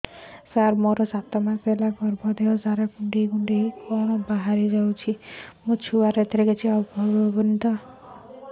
ସାର ମୋର ସାତ ମାସ ହେଲା ଗର୍ଭ ଦେହ ସାରା କୁଂଡେଇ କୁଂଡେଇ କଣ ବାହାରି ଯାଉଛି